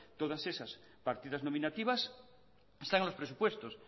todas esas partidas nominativas están en los presupuestos